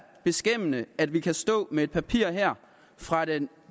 beskæmmende at vi kan stå med et papir fra den